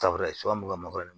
Tafe an b'u ka mangoro